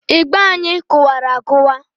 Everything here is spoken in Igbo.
Ịgba anyị kụwara akụwa.